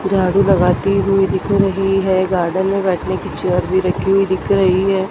झाड़ू लगाती हुई दिख रही है गार्डन में बैठने के चेयर भी रखी हुई दिख रही है।